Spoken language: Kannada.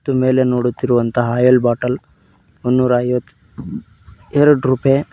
ಇದು ಮೇಲೆ ನೋಡುತ್ತಿರುವಂತಹ ಅಲ್ ಬಾಟಲ್ ಮುನುರೈವತ್ ರು ಎರಡ್ ರೂಪೇ--